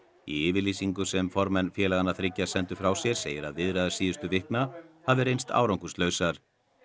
í yfirlýsingu sem formenn félaganna þriggja sendu frá sér segir að viðræður síðustu vikna hafi reynst árangurslausar